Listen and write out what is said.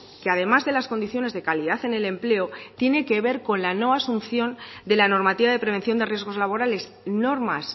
que además de las condiciones de calidad en el empleo tiene que ver con la no asunción de la normativa de prevención de riesgos laborales normas